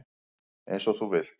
Eins og þú vilt.